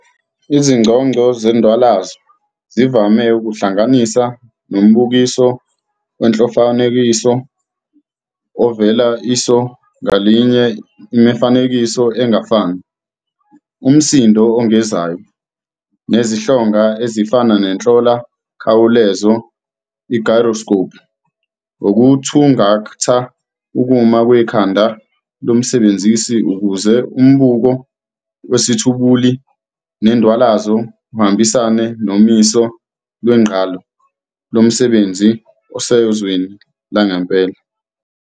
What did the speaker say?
Izinconco zendwalazo zivame ukuhlanganisa nombukiso wenhlolamfanekiso, ovezela iso ngalinye imifanekiso engafani, Umsindo ozungezayo, nezihlonga ezifana nenhlola mkhawulezo "gyroscopes" yokuthungatha ukuma kwekhanda lomsebenzisi ukuze umbuko wesithwebuli sendwalazo uhambisane nommiso wegqalo lomsebenzisi osezweni langempela.